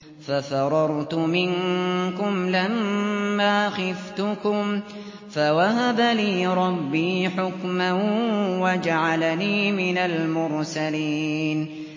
فَفَرَرْتُ مِنكُمْ لَمَّا خِفْتُكُمْ فَوَهَبَ لِي رَبِّي حُكْمًا وَجَعَلَنِي مِنَ الْمُرْسَلِينَ